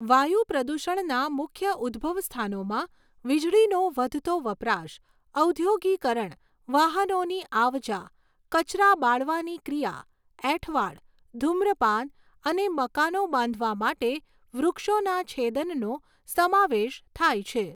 વાયુ પ્રદૂષણના મુખ્ય ઉદ્ભવસ્થાનોમાં વીજળીનો વધતો વપરાશ, ઔદ્યોગીકરણ, વાહનોની આવ જા, કચરા બાળવાની ક્રિયા, એઠવાડ, ધૂમ્રપાન અને મકાનો બાંધવા માટે વૃક્ષોના છેદનનો સમાવેશ થાય છે.